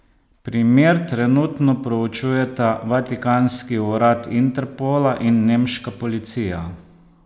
Primer trenutno preučujeta vatikanski urad Interpola in nemška policija.